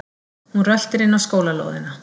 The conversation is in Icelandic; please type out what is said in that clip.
Hún röltir inn á skólalóðina.